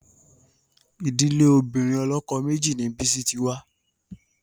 Ìdílé obìnrin ọlọ́kọ méjì ni Bisi ti wá